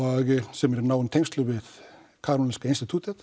sem er í náum tengslum við Karolinska